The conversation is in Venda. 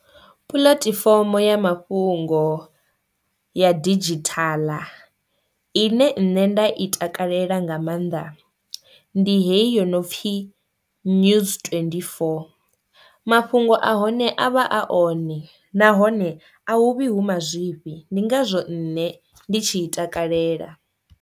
Pulatifomo ya mafhungo ya didzhithala ine nṋe nda I takalela nga maanḓa ndi hei yo nopfhi news twenty-four, mafhungo a hone avha a one nahone a huvhi hu mazwifhi ndi ngazwo nṋe ndi tshi i takalela.